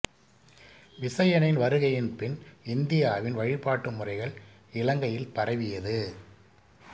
விசயனின் வருகையின் பின் இந்தியாவின் வழிபாட்டு முறைகள் இலங்கையில் பரவியது